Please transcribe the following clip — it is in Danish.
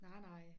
Nej nej